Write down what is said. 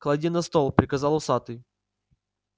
клади на стол приказал усатый